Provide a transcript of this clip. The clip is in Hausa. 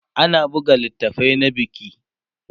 ana buga littafai na biki